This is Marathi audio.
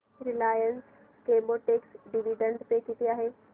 रिलायन्स केमोटेक्स डिविडंड पे किती आहे